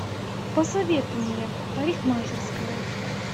посоветуй мне парикмахерская